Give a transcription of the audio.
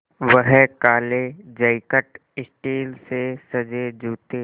वह काले jacket steel से सजे जूते